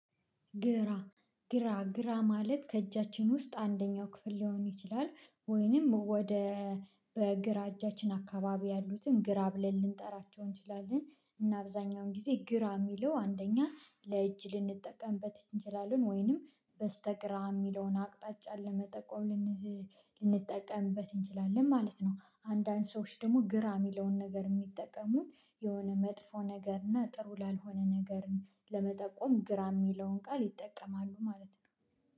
ግራ ግራ ግራ ማለት ከእጃችን ውስጥ አንደኛው ክፍል ሊሆን ይችላል ወይንም ወደ በግራ እጃችን አካባቢ ያሉትን ግራ ብለን ልንጠራቸው እንችላለን እና አብዛኛውን ጊዜ ግራ የሚለው አንደኛ ለእጅ ልንጠቀምበት እንችላለን ወይንም በስተግራ የሚለውን አቅጣጫ ለመጠቆም ልንጠቀምበት እንችላለን ማለት ነው። አንዳንድ ሰዎች ደግሞ ግራ የሚለውን ነገር የሚጠቀሙት የሆነ መጥፎ ነገር እና ጥሩ ላልሆነ ነገር ለመጠቆም ግራ የሚለውን ቃል ይጠቀማሉ ማለት ነው